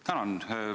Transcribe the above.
Tänan!